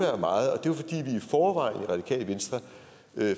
og radikale venstre